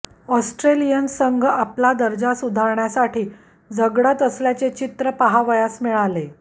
Australian संघ आपला दर्जा सुधारण्यासाठी झगडत असल्याचे चित्र पाहावयास मिळाले